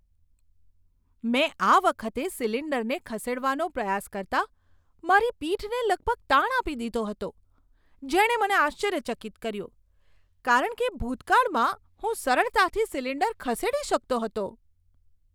મેં આ વખતે સિલિન્ડરને ખસેડવાનો પ્રયાસ કરતાં મારી પીઠને લગભગ તાણ આપી દીધો હતો, જેણે મને આશ્ચર્યચકિત કર્યો કારણ કે ભૂતકાળમાં હું સરળતાથી સિલિન્ડર ખસેડી શકતો હતો.